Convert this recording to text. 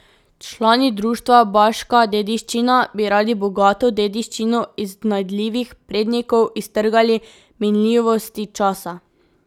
Člani Društva Baška dediščina bi radi bogato dediščino iznajdljivih prednikov iztrgali minljivosti časa.